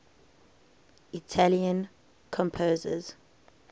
italian composers